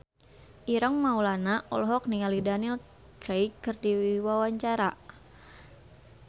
Ireng Maulana olohok ningali Daniel Craig keur diwawancara